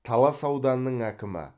талас ауданының әкімі